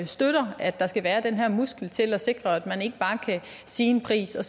støtter at der skal være den her muskel til at sikre at man ikke bare kan sige en pris og